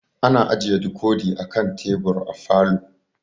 Ana ajiye dikodi a kan tebur a falo.